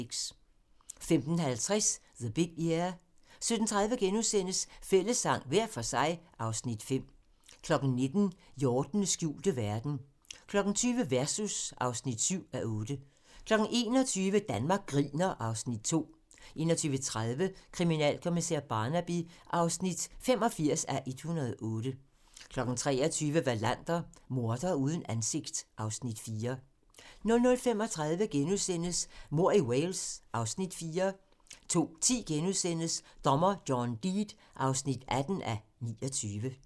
15:50: The Big Year 17:30: Fællessang – hver for sig (Afs. 5)* 19:00: Hjortenes skjulte verden 20:00: Versus (7:8) 21:00: Danmark griner (Afs. 2) 21:30: Kriminalkommissær Barnaby (85:108) 23:00: Wallander: Mordere uden ansigt (Afs. 4) 00:35: Mord i Wales (Afs. 4)* 02:10: Dommer John Deed (18:29)*